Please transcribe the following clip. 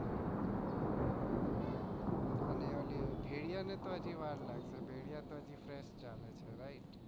અને વોલી ભેળીયા ને હાજી વાર લાગશે હજી એ fresh ચાલે છે right